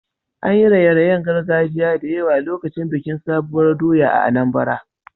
An yi raye-rayen gargajiya da yawa lokacin bikin sabuwar doya a Anambra.